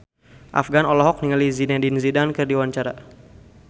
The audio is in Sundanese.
Afgan olohok ningali Zidane Zidane keur diwawancara